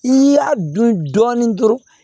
I y'a dun dɔɔnin dɔrɔn